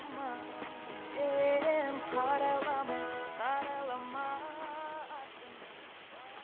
сен қарайлама қарайлама артыңа